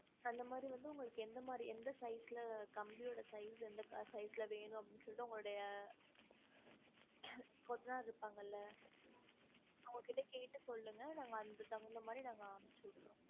அந்த மாரி வந்து உங்களுக்கு எந்த மாரி எந்த size ல கம்பியோட size எந்த size ல வேணும் அப்டின்னு சொல்லிட்டு உங்களோடைய கொத்தனார் இருப்பாங்கல்ல அவங்க கிட்ட கேட்டு சொல்லுங்க நாங்க அதுக்கு தகுந்த மாரி நாங்க அனுப்ச்சு விட்டுறோம்